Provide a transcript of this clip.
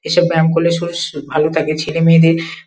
এসব ব্যায়াম করলে শরীর ভালো থাকে ছেলে মেয়েদের ।